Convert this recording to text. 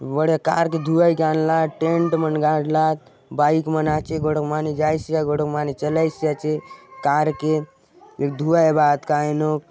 बढ़िया कार के धुआ ए जान लात टेंट मन गाड़लात बाइक मन आचे गोड़ो माने जाइस या गोड़ो माने चलइस आचे कार के धुआ ए आत काय नो --